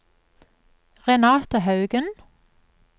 Renate Haugen